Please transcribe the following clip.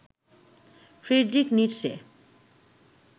Friedrich Nietzsche